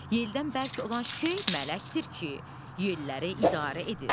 Yeldən bərk olan şey mələkdir ki, yelləri idarə edir.